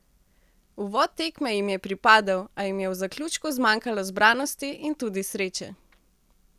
Uvod tekme jim je pripadel, a jim je v zaključku zmanjkalo zbranosti in tudi sreče.